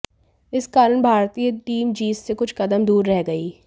इस कारण भारतीय टीम जीत से कुछ कदम दूर रह गई